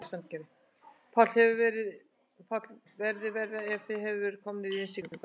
Páll: Hefði verið verra ef þið hefðuð verið komnir í innsiglinguna?